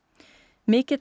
mikill